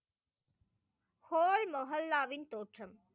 Whole மொகல்லாவின் தோற்றம்.